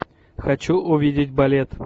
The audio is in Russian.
хочу увидеть балет